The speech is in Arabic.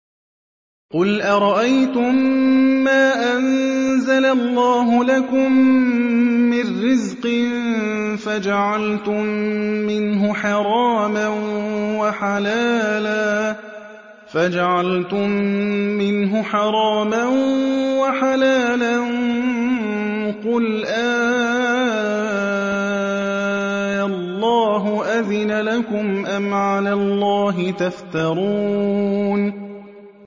قُلْ أَرَأَيْتُم مَّا أَنزَلَ اللَّهُ لَكُم مِّن رِّزْقٍ فَجَعَلْتُم مِّنْهُ حَرَامًا وَحَلَالًا قُلْ آللَّهُ أَذِنَ لَكُمْ ۖ أَمْ عَلَى اللَّهِ تَفْتَرُونَ